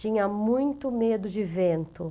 Tinha muito medo de vento.